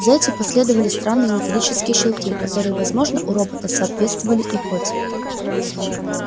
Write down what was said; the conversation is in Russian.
за эти последовали странные металлические щелчки которые возможно у робота соответствовали икоте